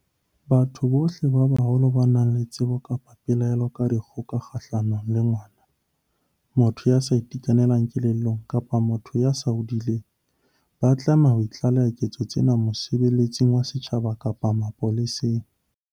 Batho bohle ba baholo ba nang le tsebo kapa pelaelo ka dikgoka kgahlano le ngwana, motho ya sa itekanelang kelellong kapa motho ya seng a hodile ba tlameha ho tlaleha diketso tseo mosebeletsing wa setjhaba kapa mapoleseng.